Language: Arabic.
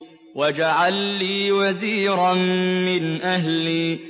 وَاجْعَل لِّي وَزِيرًا مِّنْ أَهْلِي